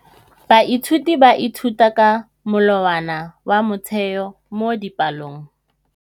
Baithuti ba ithuta ka molawana wa motheo mo dipalong.